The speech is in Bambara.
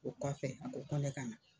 O kɔfɛ a ko ko ne ka na.